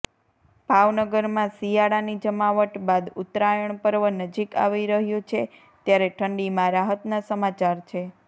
ભાવનગરમાં શિયાળાની જમાવટ બાદ ઉત્તરાયણ પર્વ નજીક આવી રહ્યુ છે ત્યારે ઠંડીમાં રાહતના સમાચાર છે